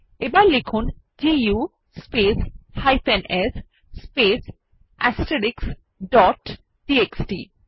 এবার লিখুন দু স্পেস s স্পেস টিএক্সটি